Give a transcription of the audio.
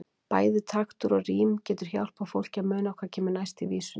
Bæði taktur og rím getur hjálpað fólki að muna hvað kemur næst í vísunni.